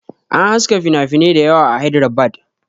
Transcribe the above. An haska finafinai dayawa a Hydrabad